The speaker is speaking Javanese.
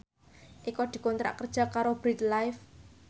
Eko dikontrak kerja karo Bread Life